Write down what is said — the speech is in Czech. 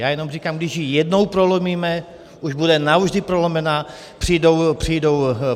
Já jenom říkám, když ji jednou prolomíme, už bude navždy prolomená.